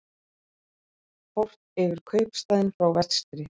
Horft yfir kaupstaðinn frá vestri.